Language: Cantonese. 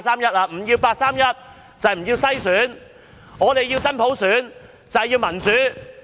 不要八三一框架就是不要篩選，我們要求真普選，要求民主。